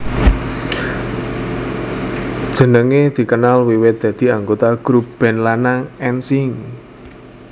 Jenenge dikenal wiwit dadi anggota grub band lanang N Sync